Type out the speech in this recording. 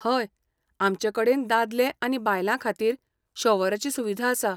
हय, आमचे कडेन दादले आनी बायलां खातीर शॉवराची सुविधा आसा.